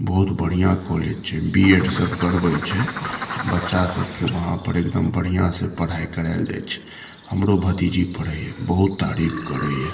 बहुत बढ़िया कॉलेज छै बीएड सब करवे छै बच्चा सब के वहां पर एकदम बढ़िया से पढ़ाय कराएल जाय छै हमरो भतीजी पढ़य ये बहुत तारीफ करय ये।